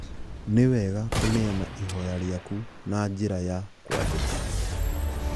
Nĩwega kuneana ihoya rĩaku na njĩra ya kũandĩka